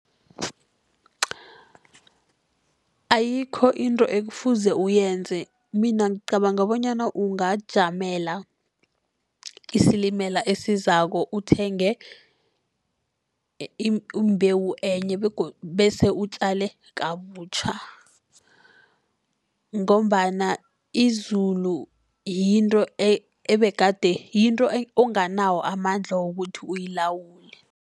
Ayikho into ekufuze uyenze. Mina ngicabanga bonyana ungajamela isilimela esizako, uthenge imbewu enye bese utjale kabutjha. Ngombana izulu yinto ebegade yinto onganawo amandla wokuthi uyilawule.